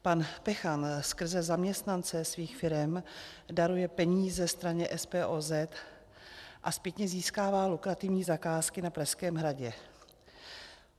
Pan Pechan skrze zaměstnance svých firem daruje peníze straně SPOZ a zpětně získává lukrativní zakázky na Pražském hradě.